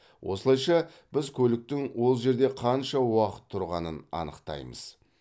осылайша біз көліктің ол жерде қанша уақыт тұрғанын анықтаймыз